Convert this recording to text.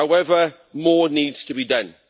However, more needs to be done.